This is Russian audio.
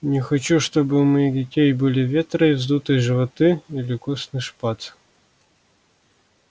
не хочу чтобы у моих детей были ветры и вздутые животы или костный шпат